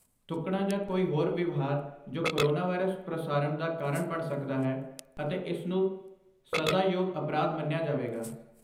ਥੁੱਕਣਾ ਜਾਂ ਕੋਈ ਹੋਰ ਵਿਵਹਾਰ ਜੋ ਕੋਰੋਨਵਾਇਰਸ ਪ੍ਰਸਾਰਣ ਦਾ ਕਾਰਨ ਬਣ ਸਕਦਾ ਹੈ ਅਤੇ ਇਸ ਨੂੰ ਸਜ਼ਾਯੋਗ ਅਪਰਾਧ ਮੰਨਿਆ ਜਾਵੇਗਾ।